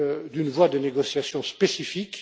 d'une voie de négociation spécifique.